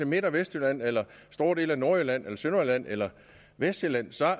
midt og vestjylland eller store dele af nordjylland eller sønderjylland eller vestsjælland